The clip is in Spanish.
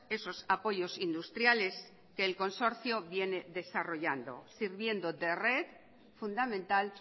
esos apoyos industriales que el consorcio viene desarrollando sirviendo de red fundamental